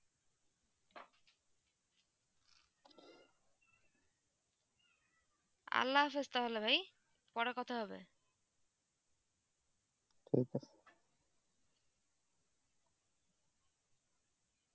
তা হলে ভাই পরে কথা হবে